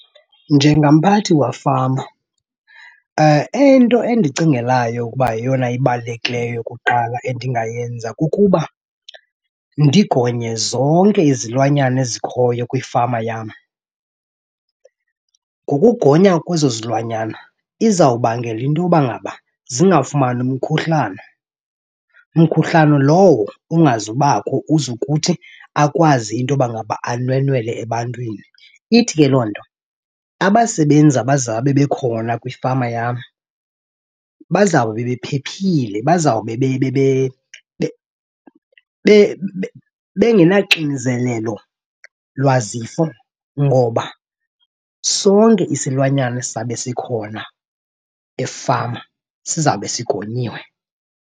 Njengamphathi wafama into endicingelayo ukuba yeyona ibalulekileyo kuqala endingayenza kukuba ndigonye zonke izilwanyana ezikhoyo kwifama yam. Ngokugonya kwezo zilwanyana izawubangela into yoba ngaba zingafumani umkhuhlane, mkhuhlane lowo ungazubakho uze kuthi akwazi into yoba ngaba anwenwele ebantwini. Ithi ke loo nto abasebenzi abazabe bekhona kwifama yam bazawube bephephile bazawube bengenaxinzelelo lwazifo ngoba sonke isilwanyana esizabe sikhona efama sizawube sigonyiwe.